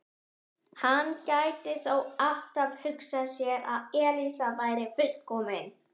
Hann gæti þó alltaf hugsað sér að Elísa væri fullkomin.